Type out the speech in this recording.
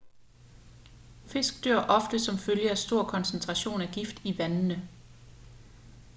fisk dør ofte som følge af en stor koncentration af gift i vandene